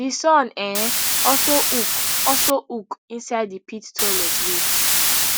di son um also hook also hook inside di pit toilet wit